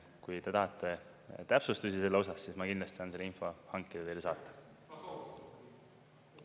Kui te tahate täpsustusi selle osas, siis ma kindlasti saan selle info hankida ja teile saata.